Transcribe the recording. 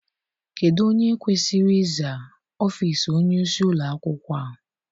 Kedụ onye kwesịrị iza ọfịịsi onyeisi ụlọakwụkwọ a?